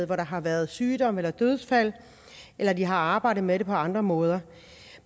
hvor der har været sygdom eller dødsfald eller de har arbejdet med det på andre måder